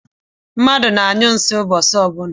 Mmadụ na-anyụ nsi ụbọchị ọbụla